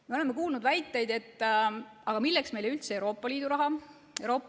Me oleme kuulnud väiteid "Milleks meile üldse Euroopa Liidu raha?